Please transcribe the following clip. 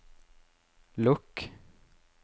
lukk